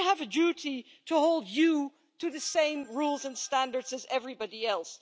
So we have a duty to hold you to the same rules and standards as everybody else.